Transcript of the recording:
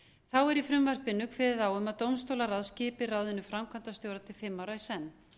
þá er í frumvarpinu kveðið á um að dómstólaráð skipi ráðinu framkvæmdastjóra til fimm ára í senn